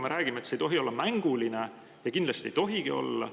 Me räägime, et see ei tohi olla mänguline, ja kindlasti ei tohigi olla.